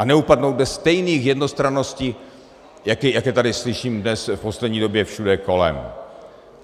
A neupadnout do stejných jednostranností, jak je tady slyším dnes v poslední době všude kolem.